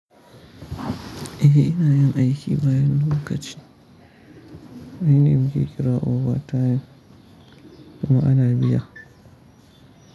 Eh ina yin aiki bayan lokaci. Ai na muke kira over time kuma ana biya.